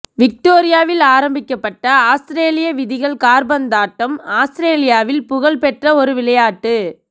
விக்டோரியாவில் ஆரம்பிக்கப்பட்ட ஆஸ்திரேலிய விதிகள் காற்பந்தாட்டம் ஆஸ்திரேலியாவில் புகழ் பெற்ற ஒரு விளையாட்டு